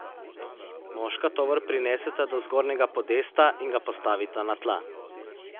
Moška tovor prineseta do zgornjega podesta in ga postavita na tla.